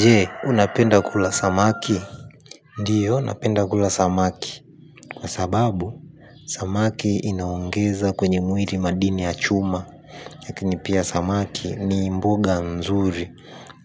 Je, unapenda kula samaki. Ndiyo, napenda kula samaki kwa sababu, samaki inaongeza kwenye mwili madini ya chuma. Lakini pia samaki ni mboga nzuri